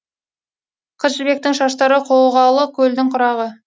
қыз жібектің шаштары қоғалы көлдің құрағы